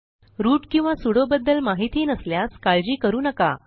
route किंवा sudo बद्दल माहिती नसल्यास काळजी करू नका